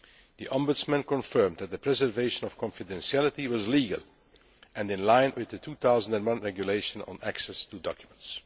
The Ombudsman confirmed that the preservation of confidentiality was legal and in line with the 2001 Regulation on access to documents.